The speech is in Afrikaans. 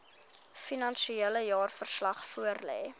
finansiële jaarverslag voorlê